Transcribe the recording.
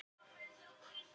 Hann stóð ekki við orð sín.